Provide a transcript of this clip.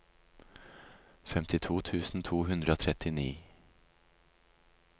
femtito tusen to hundre og trettini